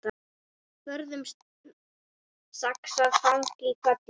Forðum saxað fang í hvelli.